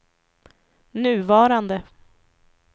nuvarande